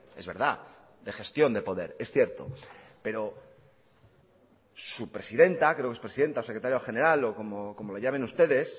es verdad de gestión de poder es cierto pero su presidente creo que es presidenta o secretario general o como le llamen ustedes